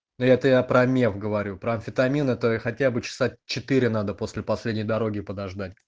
это я про меф говорю про амфетамин это хотя бы часа четыре надо после последней дороги подождать